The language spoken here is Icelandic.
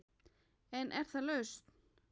En er það lausn?